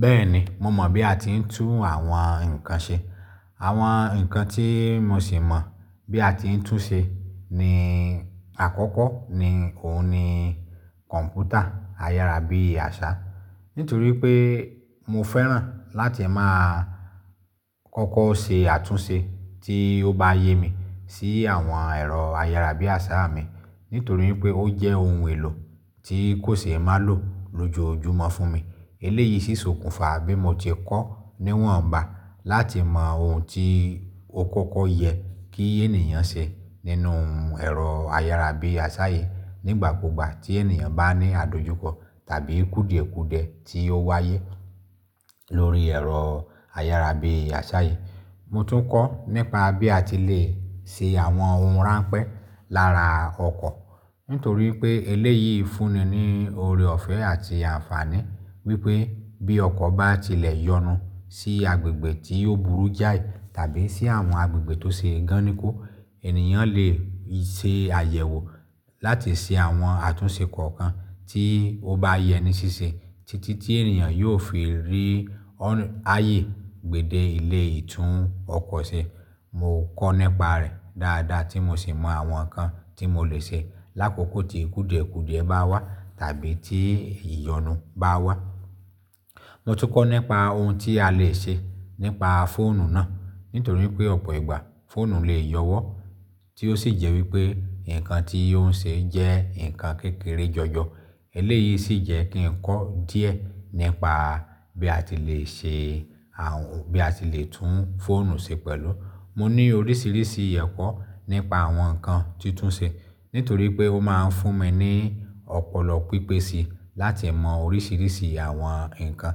Bẹ́ẹ̀ni, mo mọ̀ bí a ti ń tún àwọn nǹkan ṣe. Àwọn nǹkan tí mo sì mọ̀ bí a ti ń tún ṣe ní àkọ́kọ́ ni òun ni kọ̀m̀pútà, ayára bí àṣá. Nítorí pé mo fẹ́ràn láti máa kọ́kọ́ ṣe àtúnṣe tí ó bá yé mi sí àwọn ẹ̀rọ ayára bí àṣá mi. Nítorí pé ó jẹ́ ohun èlò tí kò ṣe é má lò lójojúmọ́ fún mi. Eléyìí ṣíṣọkùnfà bí mo ti kọ́ níwọ̀nba láti mọ ohun tí ó kọ́kọ́ yẹ kí ènìyàn ṣe nínú ẹ̀rọ ayára bí àṣá yìí nígbàkugba tí ènìyàn bá ní àdojúkọ tàbí kúdìẹ̀kudiẹ̀ tí ó wáyé lórí ẹ̀rọ ayára bí àṣá yìí. Mo tún kọ́ nípa bí a ti lè ṣe àwọn ohun ránpẹ́ lára ọkọ̀. Nítorí pé eléyìí fúnmi ní oore ọ̀fẹ́ àti àǹfààní wípé bí ọkọ̀ bá tilẹ̀ yọnu sí agbègbè tí ó burú jáì tàbí sí àwọn agbègbè tó ṣe gan nikó, ènìyàn lè ṣe àyẹ̀wò láti ṣe àwọn àtúnṣe kọ̀ọ̀kan tí ó bá yẹ ní ṣíṣe títí tí ènìyàn yóò fi rí ayé gbèdé ilé ìtún ọkọ̀ ṣe. Mo kọ́ nípa rẹ̀ dáadáa tí mo sì mọ àwọn nǹkan tí mo lè ṣe lákòókò tí kúùdìẹ̀kudẹ̀ bá wá tàbí tí ìyọnu bá wá. Mo tún kọ́ nípa ohun tí a lè ṣe nípa fóònù náà. Nítorí pé ọ̀pọ̀ ìgbà fóònù lè yọwọ́ tí ó sì jẹ́ wípé nǹkan tí ó ń ṣe jẹ́ nǹkan kékeré jọjọ. Eléyìí sì jẹ́ kí n kọ́ díẹ̀ nípa bí a ti lè ṣe àhun, bí a ti lè tún fóònù ṣe pẹ̀lú. Mo ní oríṣìíríṣìí ẹ̀kọ́ nípa àwọn nǹkan tuntun ṣe. Nítorí pé ó máa ń fún mi ní ọ̀pọ̀lọ pípè si láti mọ oríṣìíríṣìí àwọn nǹkan.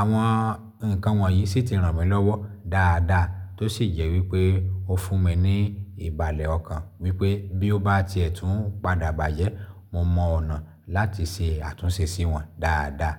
Àwọn nǹkan wọ̀nyí sì ti ràn mí lọ́wọ́ dáadáa tó sì jẹ́ wípé ó fún mi ní ìbàlẹ̀ ọkàn wípé bí ó bá ti ẹ̀ tún padà bàjẹ́, mo mọ ọ̀nà láti ṣe àtúnṣe sí wọn dáadáa.